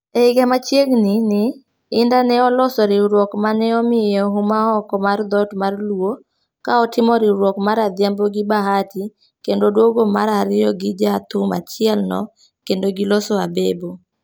E higa machiegni ni, Indah ne oloso riwruok maneomiye huma oko mar dhot mar luo, ka otimo riwruok mar Adhiambo gi Bahati kendo odwogo mar ariyo gi ja thum achiel no kendo gi loso Abebo.